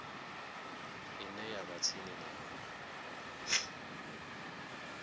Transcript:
ine ya vha tsini navho